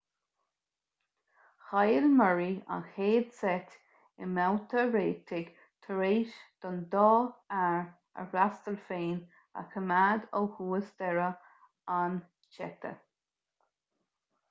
chaill murray an chéad seit i mbabhta réitigh tar éis don dá fhear a fhreastal féin a choimeád ó thús deireadh an tseite